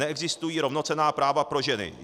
Neexistují rovnocenná práva pro ženy.